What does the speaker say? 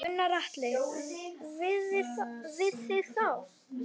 Gunnar Atli: Við þig þá?